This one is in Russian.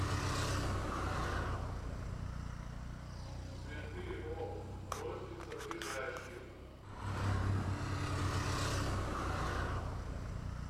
цветыоптрозница ближайший